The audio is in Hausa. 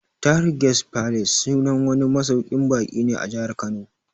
Tahir Guest Palace sunan wani masauƙin baƙi ne a Jahar Kano